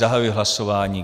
Zahajuji hlasování.